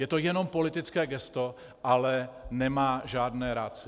Je to jenom politické gesto, ale nemá žádné ratio.